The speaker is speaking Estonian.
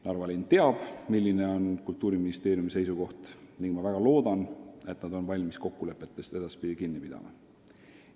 Narva linn teab, milline on Kultuuriministeeriumi seisukoht, ning ma väga loodan, et nad on valmis kokkulepetest edaspidi kinni pidama.